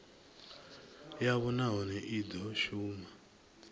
yavho nahone i do shuma